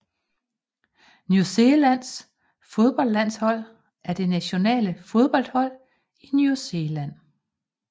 New Zealands fodboldlandshold er det nationale fodboldhold i New Zealand